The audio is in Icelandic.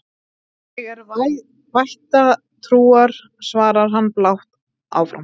Ég er vættatrúar, svarar hann blátt áfram.